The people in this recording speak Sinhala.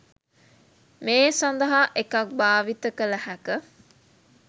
මේ සඳහා එකක් භාවිත කළ හැක.